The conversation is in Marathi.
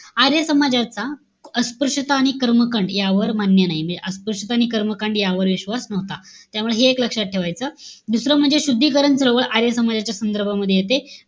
आर्य समाजाचा अस्पृश्यता आणि कर्मकांड यावर, मान्य नाही. म्हणजे अस्पृश्यता आणि कर्मकांड यावर विश्वास नव्हता. त्यामुळे हे एक लक्षात ठेवायचं. दुसरं म्हणजे शुद्धीकरण सर्व आर्य समाजाच्या संदर्भामध्ये येते.